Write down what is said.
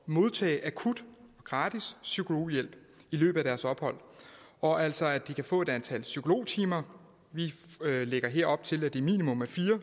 modtage akut gratis psykologhjælp i løbet af deres ophold og altså at de kan få et antal psykologtimer vi lægger her op til at det minimum er fire